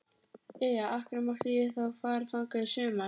Jæja, af hverju mátti ég þá fara þangað í sumar?